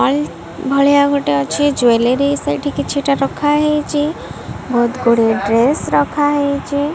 Oil ଭଳିଆ ଗୋଟେ ଅଛି। ଜ୍ୱେଲରୀ ସେଠି କିଛିଟା ରଖାହେଇଚି। ବହୁତଗୁଡିଏ ଡ୍ରେସ ରଖାହେଇଚି।